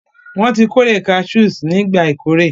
Wọn tí kórè cashews nígbà ìkórè